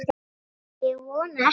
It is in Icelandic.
Ég vona ekki